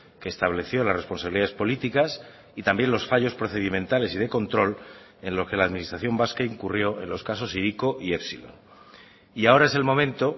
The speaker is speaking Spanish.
que estableció las responsabilidades políticas y también los fallos procedimentales y de control en lo que la administración vasca incurrió en los casos hiriko y epsilon y ahora es el momento